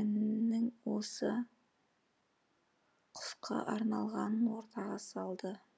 әннің осы құсқа арналғанын ортаға салды